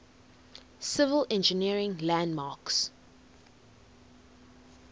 civil engineering landmarks